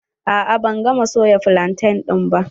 A'a ban gama soya flantain ba.